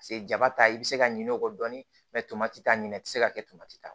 Paseke jaba ta i bɛ se ka ɲinɛ o kɔ dɔɔnin t'a ɲini i tɛ se ka kɛ ta